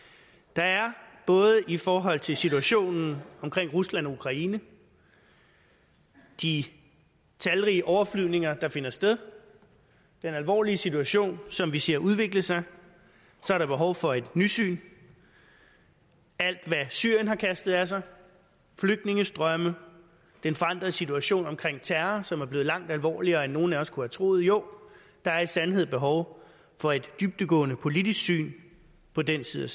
der er i forhold til situationen omkring rusland og ukraine de talrige overflyvninger der finder sted den alvorlige situation som vi ser udvikle sig behov for et nysyn alt hvad syrien har kastet af sig flygtningestrømme den forandrede situationen omkring terror som er blevet langt alvorligere end nogen af os kunne have troet jo der er i sandhed behov for et dybdegående politisk syn på den side